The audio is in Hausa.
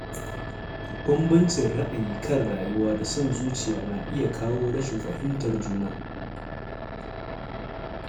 Bambancin ra’ayi kan rayuwa da son zuciya na iya kawo rashin fahimtar juna.